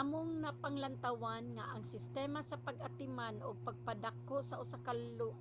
among napanglantawan nga ang sistema sa pag-atiman ug pagpadako usa ka